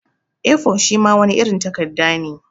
A4 shima wani irin takadda ne.